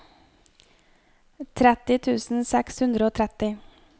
tretti tusen seks hundre og tretti